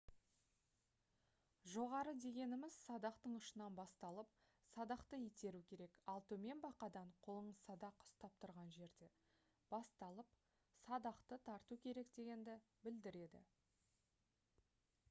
жоғары дегеніміз - садақтың ұшынан басталып садақты итеру керек ал төмен - бақадан қолыңыз садақ ұстап тұрған жерде басталып садақты тарту керек дегенді білдіреді